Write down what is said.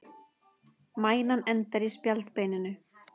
Mænan endar í spjaldbeininu.